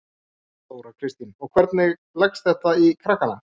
Þóra Kristín: Og hvernig, hvernig leggst þetta í krakkana?